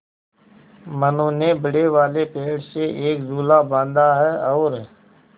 मनु ने बड़े वाले पेड़ से एक झूला बाँधा है और